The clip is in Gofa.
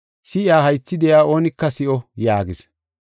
Si7iya haythi de7iya oonika si7o” yaagis.